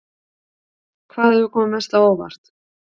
Hvað hefur komið mest á óvart?